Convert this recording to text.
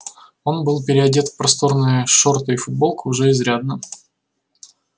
он был переодет в просторные шорты и футболку уже изрядно